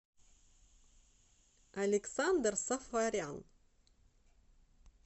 александр сафарян